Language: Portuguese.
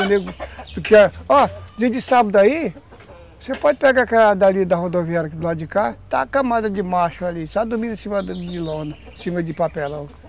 Ó, dia de sábado aí, você pode pegar da rodoviária do lado de cá, está uma camada de macho ali, só dormindo em cima de lona, em cima de papelão.